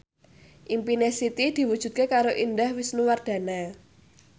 impine Siti diwujudke karo Indah Wisnuwardana